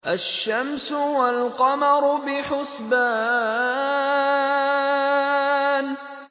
الشَّمْسُ وَالْقَمَرُ بِحُسْبَانٍ